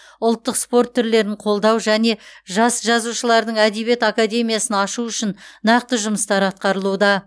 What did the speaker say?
ұлттық спорт түрлерін қолдау және жас жазушылардың әдебиет академиясын ашу үшін нақты жұмыстар атқарылуда